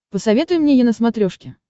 посоветуй мне е на смотрешке